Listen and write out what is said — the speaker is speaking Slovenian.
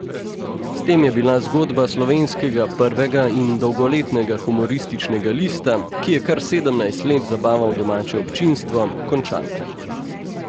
S tem je bila zgodba slovenskega prvega in dolgoletnega humorističnega lista, ki je kar sedemnajst let zabaval domače občinstvo, končana.